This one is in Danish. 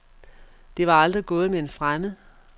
Det var aldrig gået med en fremmed.